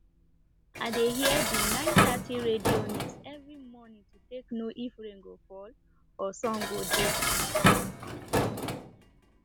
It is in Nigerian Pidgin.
i dey hear de 930 radio news every mornin to take know if rain go fall or sun go dey